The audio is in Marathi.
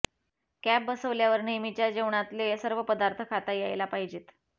कॅप बसवल्यावर नेहमीच्या जेवणातले सर्व पदार्थ खाता यायला पाहिजेत